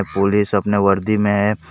Police अपने वर्दी में है।